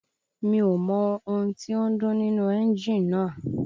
Mi ò mọ ohun tí ó ń dún nínú ẹ́ńjì náà